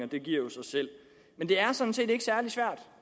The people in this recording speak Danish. det giver jo sig selv men det er sådan set ikke særlig svært